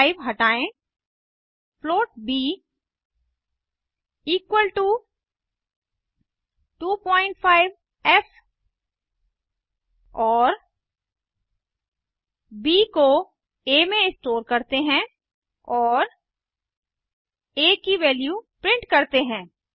5 हटायें float b equal to 25फ़ और ब को आ में स्टोर करते हैं और आ की वैल्यू प्रिंट करता है